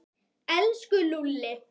Elsku Lúlli.